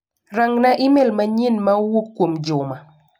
Rang'na imel manyien ma owuok kuom Juma.